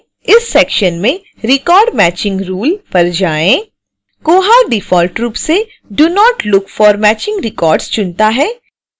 इस section में record matching rule पर जाएँ